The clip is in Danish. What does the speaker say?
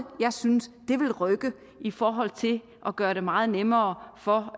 jeg synes vil rykke i forhold til at gøre det meget nemmere for